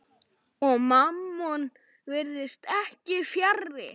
Og Mammon virðist ekki fjarri.